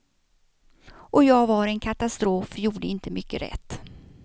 Och jag vara en katastrof, gjorde inte mycket rätt.